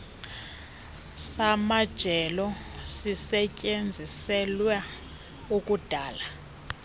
samajelo sisetyenziselwa ukudala